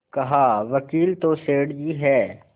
कहावकील तो सेठ जी हैं